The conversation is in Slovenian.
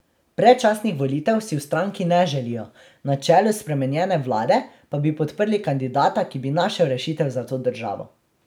Predčasnih volitev si v stranki ne želijo, na čelu spremenjene vlade pa bi podprli kandidata, ki bi našel rešitev za to državo.